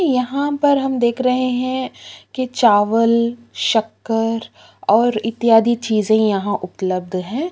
ये यहाँ पर हम देख रहै हैं कि चावल शक्कर और इत्यादि चीजे यहाँ उपलब्ध है।